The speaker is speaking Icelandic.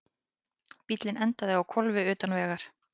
Bíllinn endaði á hvolfi utan vegar